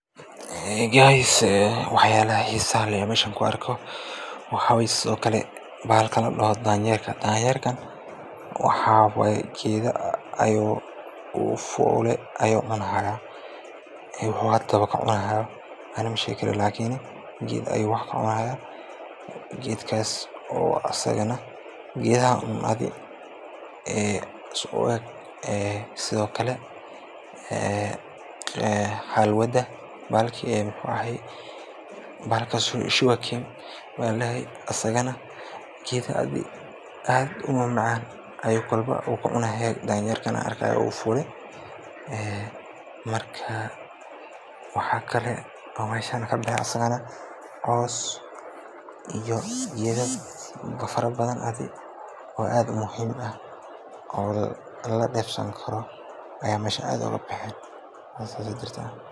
guys waxyalaha xisaha leh oo inta ku arko waxawaye okale bahalka ladao danyeerka. danyerka waxawaye gedaha ayuu fuli ani mashegi kari lakini geed ayuu wax ka cunaya geedkaas oo asagana geedaha uu adi, ee sidiokale ee xalwada iyo bahlka sugarcane maa ladahaye asigana waxyala aad umacan ayuu gedaha kacunaya ee marka waxakale ee meshan kabaxay cos iyo geda fara badhan oo aad muhim uu aah oo laga defsan karo aya mesha aad ugu baxay sida jirto